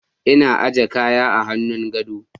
Ina aje kaya a hannun gado.